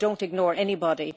But I don't ignore anybody.